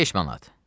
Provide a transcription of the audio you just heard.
5 manat.